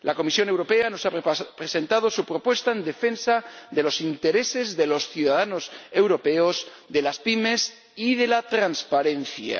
La Comisión Europea nos ha presentado su propuesta en defensa de los intereses de los ciudadanos europeos, de las pymes y de la transparencia